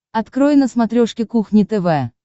открой на смотрешке кухня тв